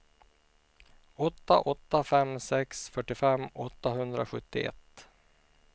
åtta åtta fem sex fyrtiofem åttahundrasjuttioett